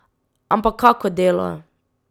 Ampak kako delo?